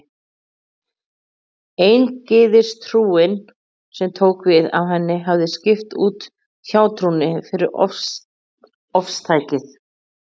Eingyðistrúin, sem tók við af henni, hefði skipt út hjátrúnni fyrir ofstækið.